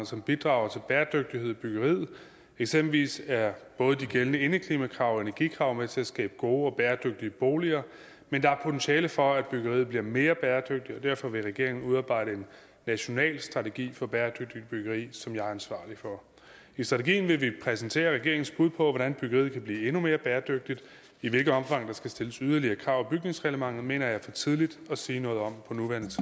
som bidrager til bæredygtighed i byggeriet eksempelvis er både de gældende indeklimakrav og energikrav med til at skabe gode og bæredygtige boliger men der er potentiale for at byggeriet bliver mere bæredygtigt og derfor vil regeringen udarbejde en national strategi for bæredygtigt byggeri som jeg er ansvarlig for i strategien vil vi præsentere regeringens bud på hvordan byggeriet kan blive endnu mere bæredygtigt i hvilket omfang der skal stilles yderligere krav i bygningsreglementet mener jeg er for tidligt at sige noget om